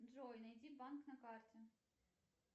джой найди банк на карте